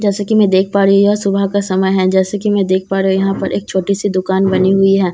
जैसे कि मैं देख पा रही यह सुबह का समय है जैसे कि मैं देख पा रही यहां पर एक छोटी सी दुकान बनी हुई हैं।